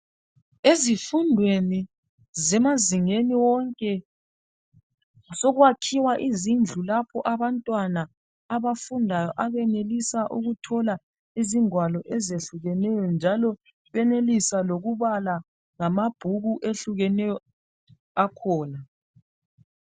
ezifundweni zemazingeni wonke sokwakhiwa izindlu lapho abantwana abafundayo abanelisa ukuthola izingwalo ezehlukeneyo njalo benelisa lokubala lamabhuku ehlukeneyo akhona